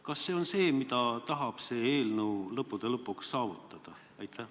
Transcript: Kas see on see, mida selle eelnõuga tahetakse lõpuks saavutada?